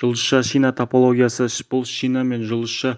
жұлдызша-шина топологиясы бұл шина мен жұлдызша